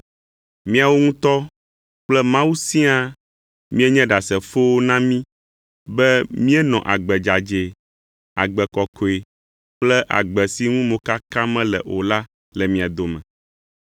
Miawo ŋutɔ kple Mawu siaa mienye ɖasefowo na mí be míenɔ agbe dzadzɛ, agbe kɔkɔe kple agbe si ŋu mokaka mele o la le mia dome.